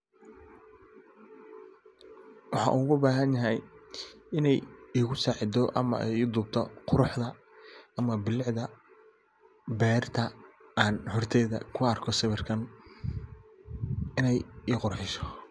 Waxan oga bahan yahay ama an karaba iney ii dubto quruxda ama bilicda beerta, an horteyda ku arko sawirkan iney ii qurxiso.